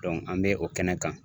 an bɛ o kɛnɛ kan